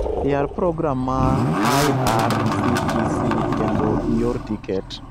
Yar program ma irctc kendo ior tiket